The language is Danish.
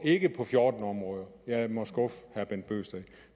ikke på fjorten områder jeg må skuffe herre bent bøgsted